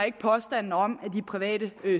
ikke påstanden om at de private